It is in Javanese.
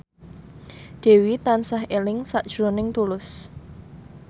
Dewi tansah eling sakjroning Tulus